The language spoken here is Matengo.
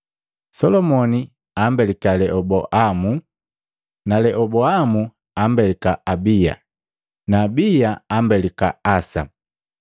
Solomoni ambelika Leoboamu na Leoboamu ambelika Abiya na Abiya ambelika Asa,